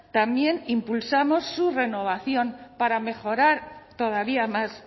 también impulsamos su renovación para mejorar todavía más